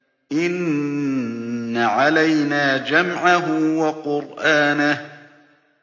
إِنَّ عَلَيْنَا جَمْعَهُ وَقُرْآنَهُ